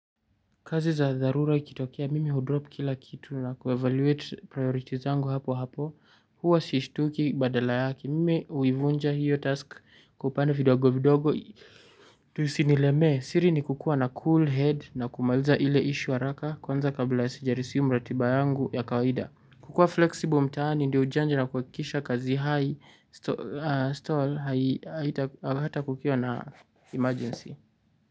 Kazi za dharura ikitokea mimi hudropu kila kitu na kuevaluate priorities zangu hapo hapo. Huwa sishtuki badala yake mimi huivunja hiyo task kwa vipande vidogo vidogo. Tu isinielemee siri ni kukuwa na cool head na kumaliza ile ishu haraka. Kwanza kabla sijaresume ratiba yangu ya kawaida kukuwa flexible mtaani ndio ujanja na kuhakisha kazi high stall haita kukiwa na emergency.